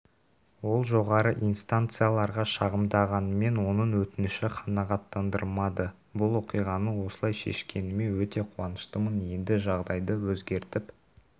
ол жоғары инстанцияларға шағымданғанымен оның өтініші қанағаттандырылмады бұл оқиғаны осылай шешкеніме өте қуаныштымын енді жағдайды өзгертіп